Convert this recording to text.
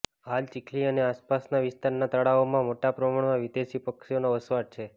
હાલ ચીખલી અને આસપાસના વિસ્તારના તળાવોમાં મોટા પ્રમાણમા વિદેશી પક્ષીઓનો વસવાટ છે